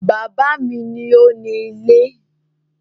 Bàbá mi ni ó ni ilé